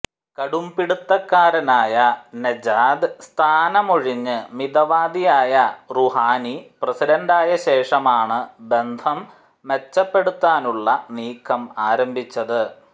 കടുംപിടിത്തക്കാരനായ Nejad സ്ഥാനമൊഴിഞ്ഞ് മിതവാദിയായ Rouhani പ്രസിഡന്റായശേഷമാണ് ബന്ധം മെച്ചപ്പെടുത്താനുള്ള നീക്കം ആരംഭിച്ചത്